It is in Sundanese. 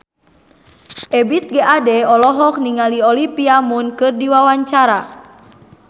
Ebith G. Ade olohok ningali Olivia Munn keur diwawancara